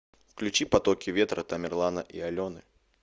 включи потоки ветра тамерлана и алены